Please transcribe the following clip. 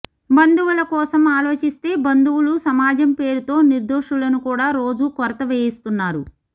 బంధువుల కోసం ఆలోచిస్తే బంధువులు సమాజం పేరుతో నిర్దోషులను కూడా రోజూ కొరత వేయిస్తున్నారు